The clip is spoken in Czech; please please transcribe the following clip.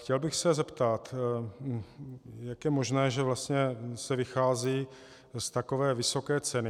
Chtěl bych se zeptat: Jak je možné, že vlastně se vychází z takové vysoké ceny?